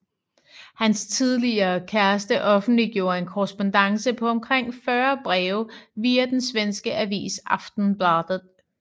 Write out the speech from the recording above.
Hans tidligere kæreste offentliggjorde en korrespondance på omkring 40 breve via den svenske avis Aftonbladet